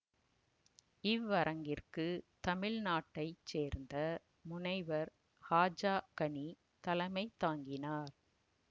இவ்வரங்கிற்கு தமிழ் நாட்டை சேர்ந்த முனைவர் ஹாஜா கனி தலைமை தாங்கினார்